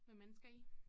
Med mennesker i